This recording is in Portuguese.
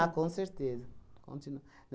com certeza. Continu